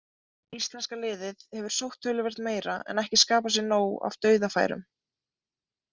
Íslenska liðið hefur sótt töluvert meira en ekki skapað sér nóg af dauðafærum.